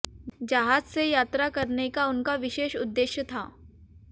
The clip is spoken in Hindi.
जहाज से यात्रा करने का उनका विशेष उद्देश्य था